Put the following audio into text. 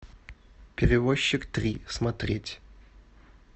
перевозчик три смотреть